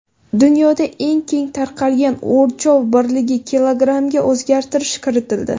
Dunyoda eng keng tarqalgan o‘lchov birligi kilogrammga o‘zgartirish kiritildi.